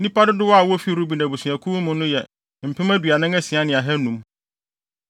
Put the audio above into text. Nnipa dodow a wofi Ruben abusuakuw no mu no yɛ mpem aduanan asia ne ahannum (46,500).